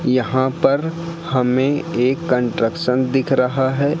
यहां पर हमें एक कंस्ट्रक्शन दिख रहा हैं।